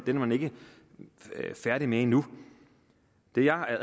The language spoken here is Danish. er man ikke færdig med endnu det jeg